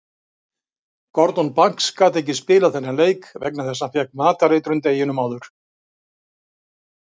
Gordon Banks gat ekki spilað þennan leik vegna þess að hann fékk matareitrun deginum áður.